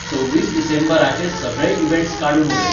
सव्वीस डीसेंबराचे सगळे इवँट्स काडून उडय